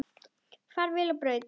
Far vel á braut.